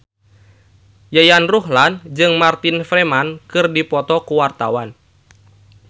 Yayan Ruhlan jeung Martin Freeman keur dipoto ku wartawan